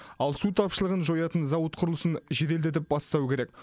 ал су тапшылығын жоятын зауыт құрылысын жеделдетіп бастау керек